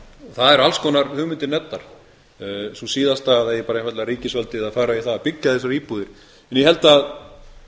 eru alls konar hugmyndir nefndar sú síðasta að það eigi bara einfaldlega ríkisvaldið að fara í það að byggja þessar íbúðir ég held að